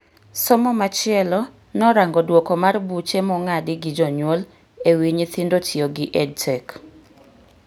Somo machielo norango duoko mar buche mong'adi gi jonyuol e wi nyithindo tiyo gi EdTech